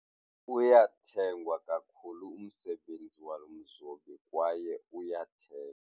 Uyathengwa kakhulu umsebenzi walo mzobi kwaye uyathengwa.